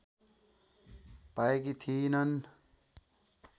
पाएकी थिइनन्।